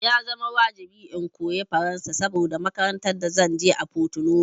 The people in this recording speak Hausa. Ya zama wajibi in koyi Faransa saboda makarantan da zanje a Porto Novo